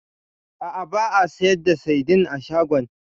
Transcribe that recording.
A'a, ba a sayar da saidin a shagon.